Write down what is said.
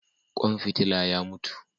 Kwan fitila ya mutu